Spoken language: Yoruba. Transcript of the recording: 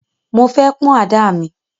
Mo fẹ́ pán àdá mi.